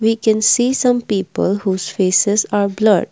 we can see some people whose faces are blurred.